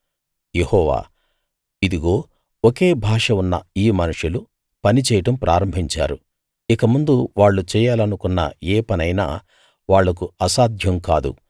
యెహోవా ఇదిగో ఒకే భాష ఉన్న ఈ మనుషులు పని చేయడం ప్రారంభించారు ఇకముందు వాళ్ళు చెయ్యాలనుకున్న ఏ పనైనా వాళ్లకు అసాధ్యం కాదు